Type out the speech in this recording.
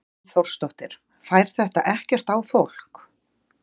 Hrund Þórsdóttir: Fær þetta ekkert á fólk?